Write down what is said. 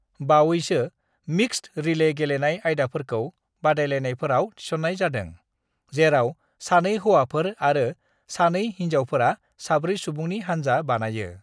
"बावैसो, mixed relay गेलेनाय आयदाफोरखौ बादायलायनायफोराव थिस'न्नाय जादों, जेराव सानै हौवाफोर आरो सानै हिनजावफोरा साब्रै-सुबुंनि हानजा बानायो।"